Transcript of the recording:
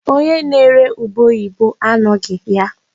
Onye na-ere ube oyibo anọghị ya.